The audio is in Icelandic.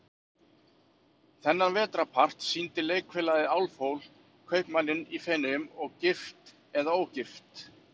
Þennan vetrarpart sýndi Leikfélagið Álfhól, Kaupmanninn í Feneyjum og Gift eða ógift?